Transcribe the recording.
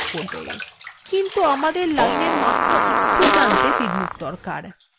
কিন্তু আমাদের line এর মাত্র একটি প্রান্তে তীরমুখ দরকার